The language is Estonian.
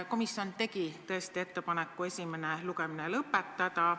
Komisjon tegi tõesti ettepaneku esimene lugemine lõpetada.